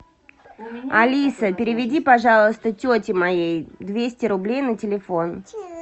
алиса переведи пожалуйста тете моей двести рублей на телефон